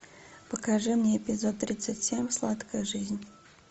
покажи мне эпизод тридцать семь сладкая жизнь